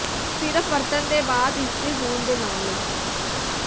ਸਿਰਫ ਵਰਤਣ ਦੇ ਬਾਅਦ ਇਸ ਦੇ ਹੋਣ ਦੇ ਲਾਉਣ ਲਈ